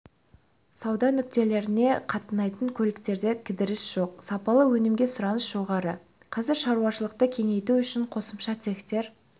сауда нүктелеріне қатынайтын көліктерде кідіріс жоқ сапалы өнімге сұраныс жоғары қазір шаруашылықты кеңейту үшін қосымша цехтар